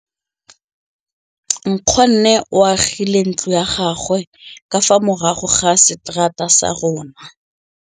Nkgonne o agile ntlo ya gagwe ka fa morago ga seterata sa rona.